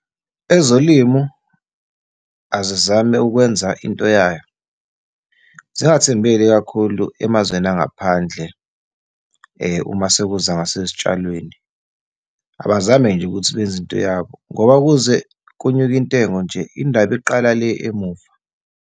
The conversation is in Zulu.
Ezolimo azizame ukwenza into yayo, zingathembeli kakhulu emazweni angaphandle uma sekuza ngasezitshalweni. Abazame nje ukuthi benze into yabo, ngoba kuze kunyuke intengo nje, indaba iqala le emuva.